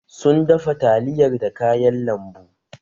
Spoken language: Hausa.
Sun dafa taliyar da kayan lambu.